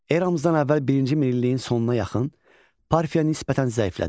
Eramızdan əvvəl birinci minilliyin sonuna yaxın Parfiya nisbətən zəiflədi.